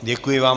Děkuji vám.